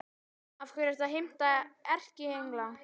Af hverju ertu að heimta erkiengla?